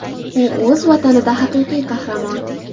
U o‘z Vatanida haqiqiy qahramon.